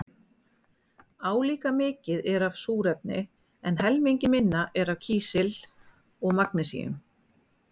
Álíka mikið er af súrefni en helmingi minna er af kísli og magnesíni.